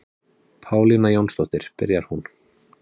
Pálína Jónsdóttir, byrjar hún.